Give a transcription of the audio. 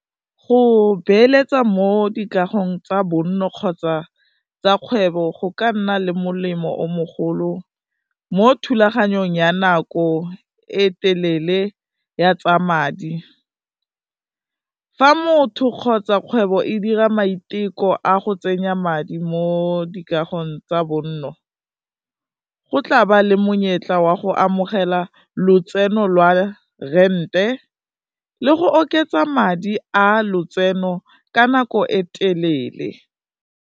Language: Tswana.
Go beeletsa mo dikagong tsa bonno kgotsa tsa kgwebo, go ka nna le molemo o mogopolo mo thulaganyong ya nako e telele ya tsa madi, fa motho kgotsa kgwebo e dira maiteko a go tsenya madi mo dikagolong tsa bonno, go tlaba le monyetla wa go amogela lotseno lwa rente le go oketsa madi a lotseno ka nako e telele.